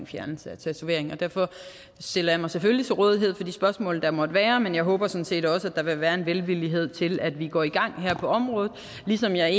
fjernelse af tatoveringer derfor stiller jeg mig selvfølgelig til rådighed for de spørgsmål der måtte være men jeg håber sådan set også at der vil være en velvillighed til at vi går i gang her på området ligesom jeg